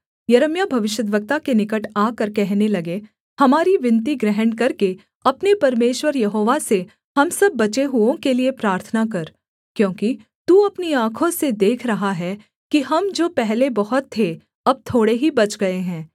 यिर्मयाह भविष्यद्वक्ता के निकट आकर कहने लगे हमारी विनती ग्रहण करके अपने परमेश्वर यहोवा से हम सब बचे हुओं के लिये प्रार्थना कर क्योंकि तू अपनी आँखों से देख रहा है कि हम जो पहले बहुत थे अब थोड़े ही बच गए हैं